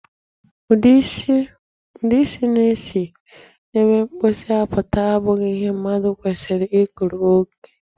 Ụdị isi na-esi n'ebe mposi apụta abụghị ihe mmadụ kwesịrị i kuru oge.